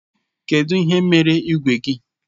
Kedụ ihe mere igwe gị?